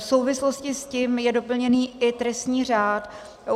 V souvislosti s tím je doplněný i trestní řád.